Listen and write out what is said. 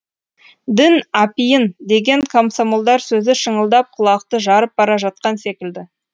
дін апиын деген комсомолдар сөзі шыңылдап құлақты жарып бара жатқан секілді